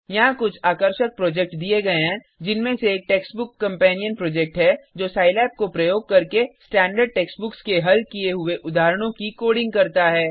यहाँ कुछ आकर्षक प्रोजेक्ट दिए गए हैं जिनमें से एक टेक्स्टबुक कंपेनियन प्रोजेक्ट है जो सिलाब को प्रयोग करके स्टैण्डर्ड टेक्सटबुक्स के हल किये हुए उदाहरणों की कोडिंग करता है